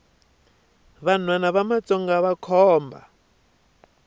vanhwana va matsonga vakhomba